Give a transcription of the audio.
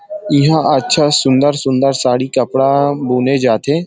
ईहा अच्छा सुन्दर-सुन्दर साड़ी कपड़ा बुने जाथे।